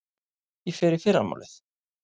Ég fer í fyrramálið.